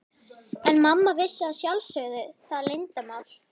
En mamma vissi að sjálfsögðu það leyndarmál.